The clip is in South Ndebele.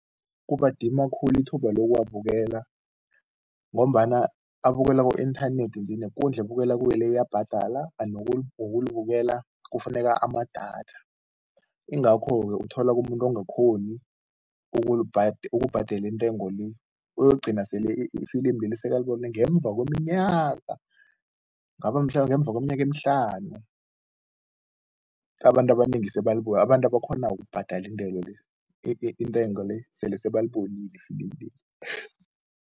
Kubadima khulu ithuba lokuwabukela ngombana abukelwa ku-inthanethi nje, nekundla ebukelwa kuyo le iyabhadala kanti nokulibukela kufuneka amadatha, yingakho-ke uthola umuntu ongakhoni ukubhadela intengo le uyokugcina sele ifilimu leli sekalibona ngemva kweminyaka, kungaba mhlambe ngemva kweminyaka emihlanu, abantu abanengi abantu abakghonako ukubhadala le intengo le, sele sebalibonile efilimi leli.